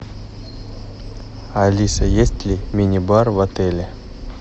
алиса есть ли мини бар в отеле